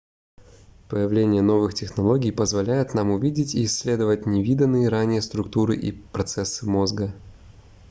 появление новых технологий позволяет нам увидеть и исследовать невиданные ранее структуры и процессы мозга